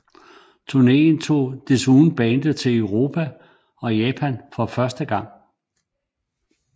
Turneen tog desuden bandet til Europa og Japan for første gang